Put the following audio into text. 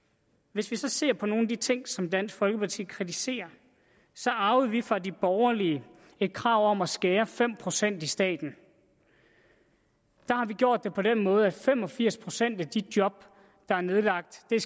hvis vi så ser på nogle af de ting som dansk folkeparti kritiserer så arvede vi fra de borgerlige et krav om at skære fem procent i staten der har vi gjort det på den måde at fem og firs procent af de job der er nedlagt er